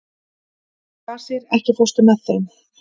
Kvasir, ekki fórstu með þeim?